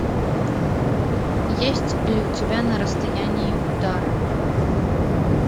есть ли у тебя на расстоянии удара